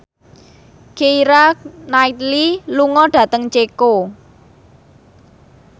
Keira Knightley lunga dhateng Ceko